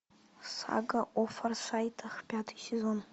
сага о форсайтах пятый сезон